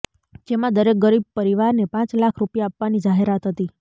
જેમાં દરેક ગરીબ પરિવારને પાંચ લાખ રૂપિયા આપવાની જાહેરાત હતી